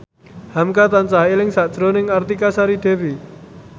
hamka tansah eling sakjroning Artika Sari Devi